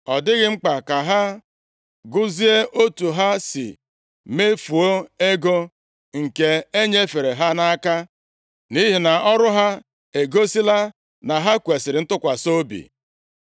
Ọ dịghị mkpa ka ha gụzie otu ha si mefuo ego nke e nyefere ha nʼaka, nʼihi na ọrụ ha egosila na ha kwesiri ntụkwasị obi.”